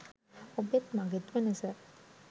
ඔබෙත් මගෙත් වෙනස